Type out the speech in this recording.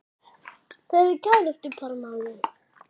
Þau eru kærustupar maður!